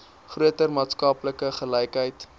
groter maatskaplike gelykheid